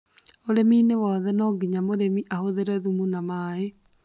ũrĩminĩ wothe no nginya mũrĩmi ahũthĩre thumu na maĩ.